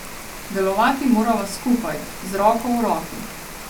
Delovati morava skupaj, z roko v roki.